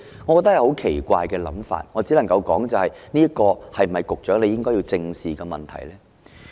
我覺得這是很奇怪的想法，我只能夠說的是，這是否局長應該正視的問題呢？